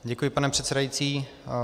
Děkuji, pane předsedající.